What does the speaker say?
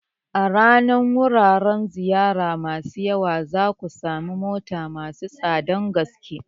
A bayan wuraren ziyara masu yawa, za ku sami motel masu tsadar gaske.